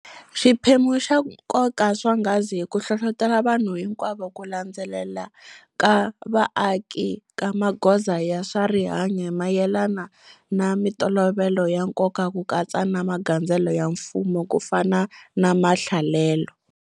Xiphemu xa nkoka swonghasi hi ku hlohlotela vanhu hinkwavo ku landzelela ka vaaki ka magoza ya swa rihanyu hi mayelana na mitolovelo ya nkoka ku katsa na magandzelelo ya mfumo kufana na mahlalelo.